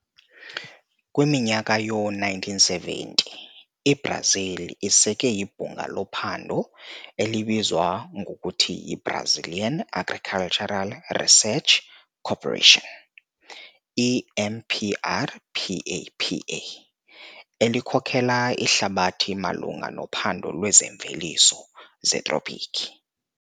Kwiminyaka yoo-1970, iBrazil iseke ibhunga lophando elibizwa ngokuthi yiBrazilian Agricultural Research Corporation, EMPRPAPA, elikhokela ihlabathi malunga nophando lweemveliso zetropiki.